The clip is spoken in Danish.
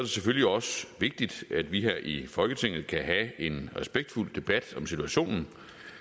selvfølgelig også vigtigt at vi her i folketinget kan have en respektfuld debat om situationen